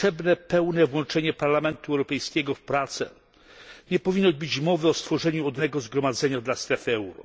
Potrzeba pełnego włączenia Parlamentu Europejskiego w prace. Nie powinno być mowy o stworzeniu odrębnego zgromadzenia dla strefy euro.